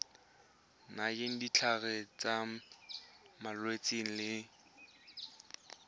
nayang ditlhare tsa malwetse le